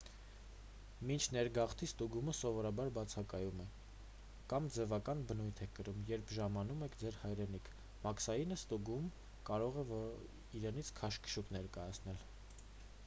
մինչ ներգաղթի ստուգումը սովորաբար բացակայում է կամ ձևական բնույթ է կրում երբ ժամանում եք ձեր hայրենիք մաքսային ստուգումը կարող է իրենից քաշքշուկ ներկայացնել: